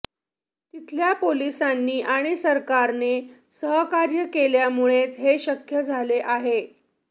तिथल्या पोलिसांनी आणि सरकारने सहकार्य केल्यामुळेच हे शक्य झाले आहे